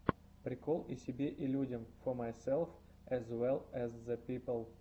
прикол и себе и людям фо майсэлф эз вэлл эз зэ пипл